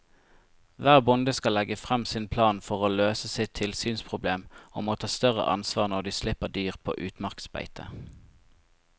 Hver bonde skal legge frem sin plan for å løse sitt tilsynsproblem og må ta større ansvar når de slipper dyr på utmarksbeite.